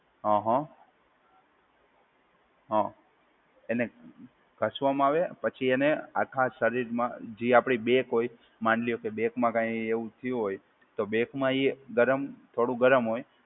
અ હ, હા એટલે ગસવામાં આવે પછી એને આખા શરીરમાં જે આપડે બેક હોય, માની લો કે બેકમાં કઈ એવું થયું હોય તો બેકમાં એ ગરમ થોડું ગરમ હોય.